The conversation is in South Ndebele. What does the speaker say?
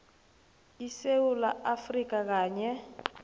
esewula afrika kanye